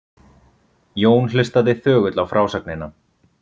Jón hlustaði þögull á frásögnina.